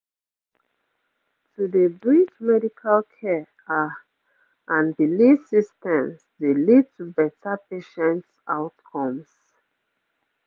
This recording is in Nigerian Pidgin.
pause - to dey bridge medical care ah and belief systems dey lead to better patient outcomes